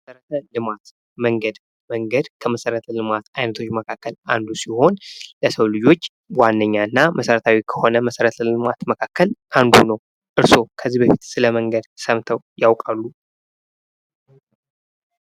መሠረተ ልማት መንገድ መንገድ ከመሠረተ ልማት አይነቶች መካከል አንዱ ሲሆን የሰው ልጆች ዋነኛና መሠረታዊ ከሆነ መሠረተ ልማት መካከል አንዱ ነው። እርስዎ ከዚህ በፊት ስለመንገድ ሰምተው ያውቃሉ?